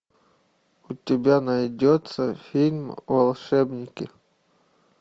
у тебя найдется фильм волшебники